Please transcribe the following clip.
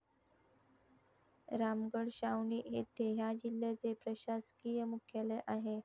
रामगड छावणी येथे ह्या जिल्ह्याचे प्रशासकीय मुख्यालय आहे.